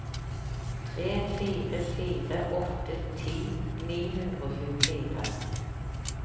tre fire fire åtte ti ni hundre og tjuefire